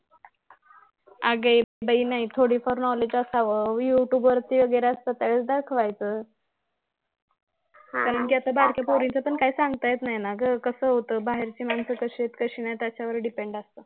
अगं ये बाई नाही थोडं फार knowledge असावं उगाच youtube वर असते तेव्हा दाखवायचं कारण कि आता बारक्या पोरींच पण काही सांगता येत नाही ना गं कसं होतं बाहेरची मानसं कशी आहेत कशी नाहीत ह्याच्यावर depend असतं ना गं